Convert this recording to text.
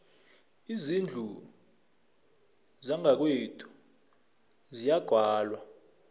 izindlu zangakwethu ziyagwalwa